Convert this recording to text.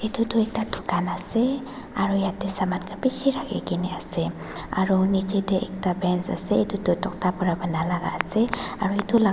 edu toh ekta dukan ase aro yatae saman khan bishi rakhikae na ase aro nichae tae ekta bench ase edu tu tokta pa banai lakaase aro edu laka--